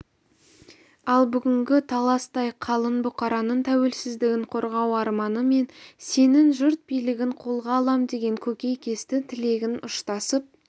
ал бүгінгі таластай қалың бұқараның тәуелсіздігін қорғау арманы мен сенің жұрт билігін қолға алам деген көкейкесті тілегің ұштасып